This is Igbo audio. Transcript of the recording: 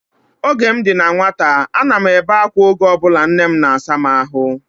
Oge m dị na nwata, a na m ebe akwa oge ọbụla nne m na-asa m ahụ